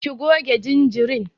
Ki goge jinjirin.